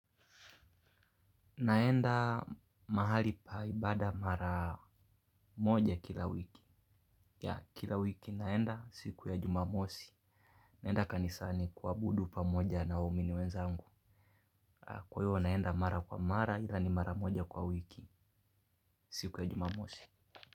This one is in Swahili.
Naenda mahali pa ibada mara moja kila wiki. Yaa kila wiki naenda siku ya jumamosi. Naenda kanisani kuabudu pamoja waumini wenzangu. Kwa hiyo naenda mara kwa mara na ni mara moja kwa wiki siku ya jumamosi.